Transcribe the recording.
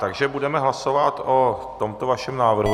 Takže budeme hlasovat o tomto vašem návrhu.